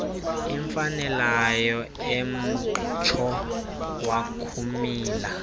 imfanelayo emtsho wakumila